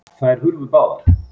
Þær hurfu báðar.